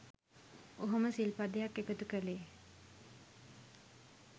ඔහොම සිල් පදයක් එකතු කලේ.